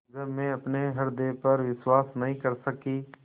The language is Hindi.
जब मैं अपने हृदय पर विश्वास नहीं कर सकी